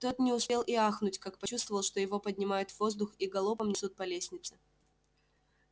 тот не успел и ахнуть как почувствовал что его поднимают в воздух и галопом несут по лестнице